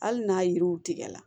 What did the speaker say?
Hali n'a yiriw tigɛ la